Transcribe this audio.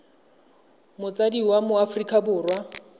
motsadi wa mo aforika borwa